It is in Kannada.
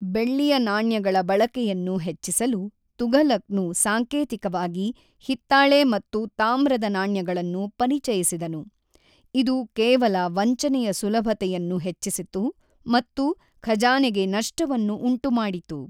ಬೆಳ್ಳಿಯ ನಾಣ್ಯಗಳ ಬಳಕೆಯನ್ನು ಹೆಚ್ಚಿಸಲು ತುಘಲಕ್‌ನು ಸಾಂಕೇತಿಕವಾಗಿ ಹಿತ್ತಾಳೆ ಮತ್ತು ತಾಮ್ರದ ನಾಣ್ಯಗಳನ್ನು ಪರಿಚಯಿಸಿದನು, ಇದು ಕೇವಲ ವಂಚನೆಯ ಸುಲಭತೆಯನ್ನು ಹೆಚ್ಚಿಸಿತು ಮತ್ತು ಖಜಾನೆಗೆ ನಷ್ಟವನ್ನು ಉಂಟುಮಾಡಿತು.